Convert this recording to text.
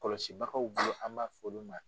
Kɔlɔsibagaw bolo an b'a f'olu ma.